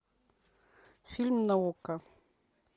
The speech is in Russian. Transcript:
фильм на окко